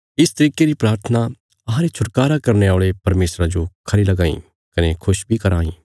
इस तरिके री प्राथना अहांरे छुटकारा करने औल़े परमेशरा जो खरी लगां इ कने खुश बी कराँ इ